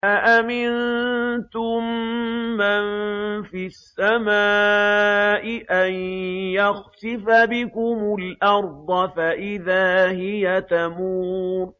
أَأَمِنتُم مَّن فِي السَّمَاءِ أَن يَخْسِفَ بِكُمُ الْأَرْضَ فَإِذَا هِيَ تَمُورُ